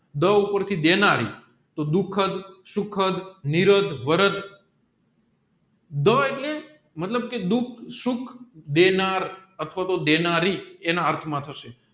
ડ ઉપર થી દેનારી દુખાધ સુખાધ નિરાધ વરાધ ડ એટલે મતલબ કે દુઃખ સુખ દેનાર અથવા તો દેનારી એના અર્થ માં